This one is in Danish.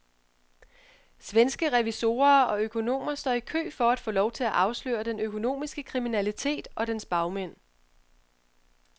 Svenske revisorer og økonomer står i kø for at få lov til at afsløre den økonomiske kriminalitet og dens bagmænd.